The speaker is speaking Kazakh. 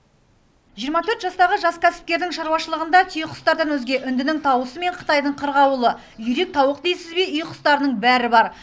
жиырма төрт жастағы жас кәсіпкердің шаруашылығында түйеқұстардан өзге үндінің тауысы мен қытайдың қырғауылы үйрек тауық дейсіз бе үй құстарының бәрі бар